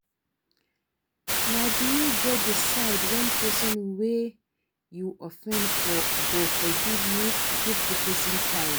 No be you go decide when person wey you offend go forgive you, give di person time